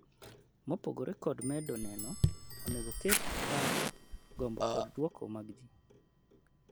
mopogore kod medo neno, onego oketi paro , gombo kod duokomag ji